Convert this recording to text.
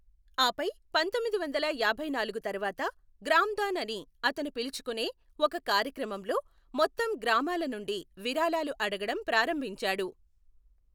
ఆపై పంతొమ్మిదివందల యాభైనాలుగు తర్వాత, గ్రామదాన్ అని అతను పిలుచుకునే ఒక కార్యక్రమంలో మొత్తం గ్రామాల నుండి విరాళాలు అడగడం ప్రారంభించాడు.